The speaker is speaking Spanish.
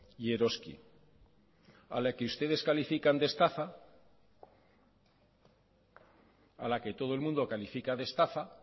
y eroski a la que ustedes califican de estafa a la que todo el mundo califica de estafa